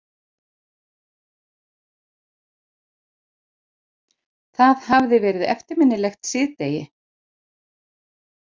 Það hafði verið eftirminnilegt síðdegi.